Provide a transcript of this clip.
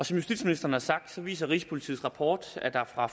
som justitsministeren har sagt viser rigspolitiets rapport at der fra